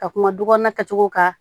Ka kuma du kɔnɔna kɛcogo kan